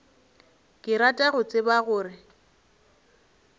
ke rata go tseba gore